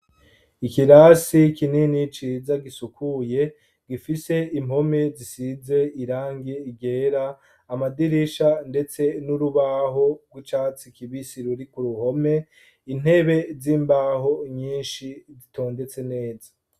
Ikirasi kinini ciza gisukuye gifise impome zisize irangi ryera, amadirisha ndetse n'urubaho bw'icatsi kibisi ruri ku ruhome, intebe z'imbaho nyinshi zitondetse neza.